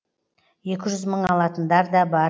екі жүз мың алатындар да бар